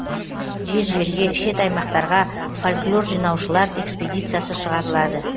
жер жерге шет аймақтарға фольклор жинаушылар экспедиясы шығарылады